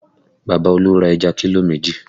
Bàbá Olú ra ẹja kílò méjì